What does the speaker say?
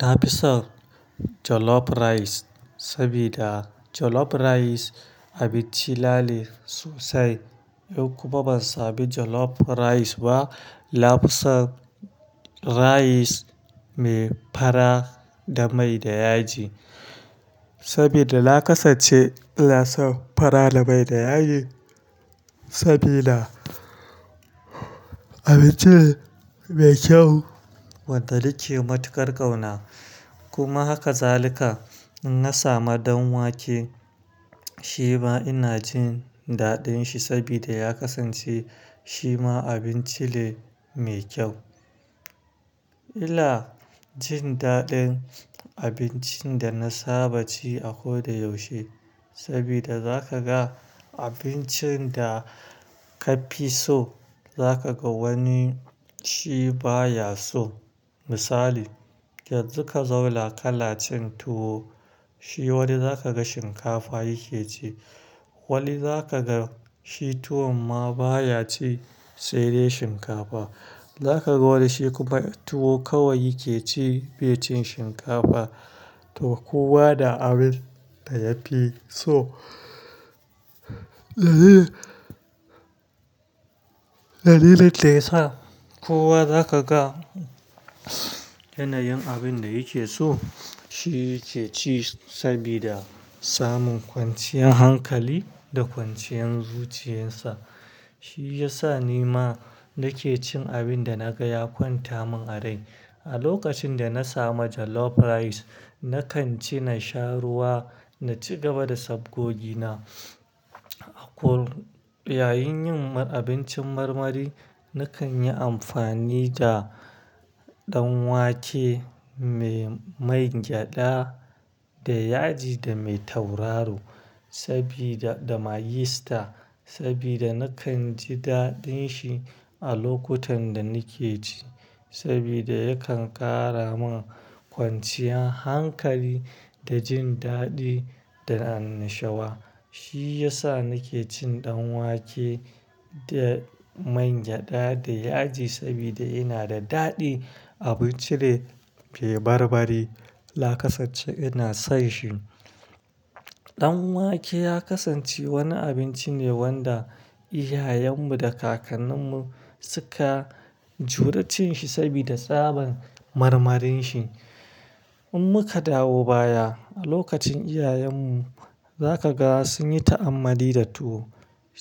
Na fi son Jollof Rice sabida Jollof Rice abinci nane sosai. In kuma ban sami Jollof Rice ba, nafisan Rice mai fara da mai da yaji. Sabida nakasance ina son fara da mai da yaji, sabida abinci ne mai kyau wanda nake matuƙar ƙauna. Kuma haka zalika inna samu ɗan wake. Shi ma ina jin daɗin shi sabida ya kasance shi ma abinci ne mai kyau. Ina jin daɗin abincin da na saba ci a ko da yaushe. Sabida za ka ga abincin da ka fi so za ka ga wani shi ba ya so. Misali, yanzu ka zauna kana cin tuwo, shi wani zakaga shinkafa yake ci, wani zakaga shi tuwon ma baya ci sai dai shinkafa. Za ka ga wani shi kuma tuwo kawai yake ci bai cin shinkafa, to kowa da abin da ya fi so. Dalilin da yasa kowa zaka ga yanayin abin da yake so shi yake ci sabida samun kwanciyan hankali da kwanciyan zuciyarsa. Shi ya sa ni ma nake cin abin da na ga ya kwanta min a rai. A lokacin da na samu Jollof Rice na kan ci, na sha ruwa, na ci gaba da sabgogi na. Akor, yayin yin abincin marmari na kan yi amfani da ɗan wake mai man gyaɗa da yaji da mai tauraro, sabida da Maggi Star, sabida nakanji dadin shi a lokutan da nake ci, sabida yakan ƙara min kwanciyan hankali, da jin daɗi da annashuwa. Shi ya sa nake cin ɗan wake da main gyada da yaji sabida yana da daɗi. Abinci ne mai barbari, nakasance ina son shi. Ɗanwake ya kasance wani abinci ne wanda iyayen mu da kakannin mu suka juri cinshi sabida tsabar marmarin shi in muka dawo baya, lokacin iyayen mu zakaga sunyi ta'anmali da tuwo.